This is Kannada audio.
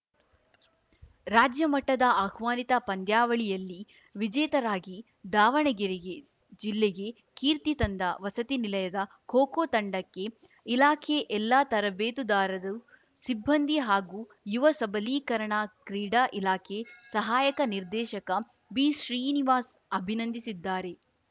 ರಾಜ್ಯ ಮಟ್ಟದ ಆಹ್ವಾನಿತ ಪಂದ್ಯಾವಳಿಯಲ್ಲಿ ವಿಜೇತರಾಗಿ ದಾವಣಗೆರೆಗೆ ಜಿಲ್ಲೆಗೆ ಕೀರ್ತಿ ತಂದ ವಸತಿ ನಿಲಯದ ಖೋ ಖೋ ತಂಡಕ್ಕೆ ಇಲಾಖೆ ಎಲ್ಲಾ ತರಬೇತುದಾರರು ಸಿಬ್ಬಂದಿ ಹಾಗೂ ಯುವ ಸಬಲೀಕರಣ ಕ್ರೀಡಾ ಇಲಾಖೆ ಸಹಾಯಕ ನಿರ್ದೇಶಕ ಬಿಶ್ರೀನಿವಾಸ್ ಅಭಿನಂದಿಸಿದ್ದಾರೆ